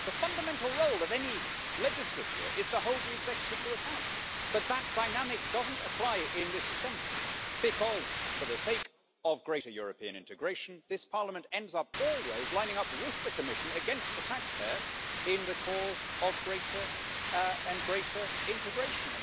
The fundamental role of any legislature is to hold the executive to account, but that dynamic doesn't apply in this assembly, because for the sake of greater European integration this Parliament ends up always lining up with the Commission against the taxpayer in the cause of greater and greater integration.